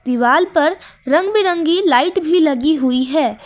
दीवाल पर रंग बिरंगी लाइट भी लगी हुई है।